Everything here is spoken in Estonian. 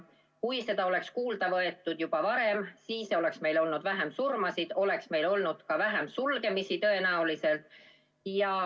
Kui seda oleks kuulda võetud juba varem, siis oleks meil olnud vähem surmasid ja oleks tõenäoliselt olnud ka vähem sulgemisi.